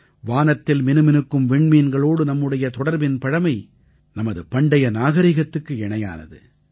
வானத்தில் மினுமினுக்கும் விண்மீன்களோடு நம்முடைய தொடர்பின் பழமை நமது பண்டைய நாகரீகத்துக்கு இணையானது